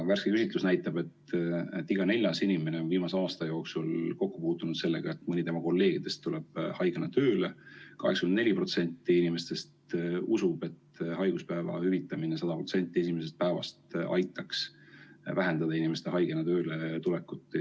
Värske küsitlus näitab, et iga neljas inimene on viimase aasta jooksul kokku puutunud sellega, et mõni tema kolleegidest tuleb haigena tööle, ning 84% inimestest usub, et haiguspäevade hüvitamine 100% ulatuses esimesest päevast alates aitaks vähendada inimeste haigena tööle tulekut.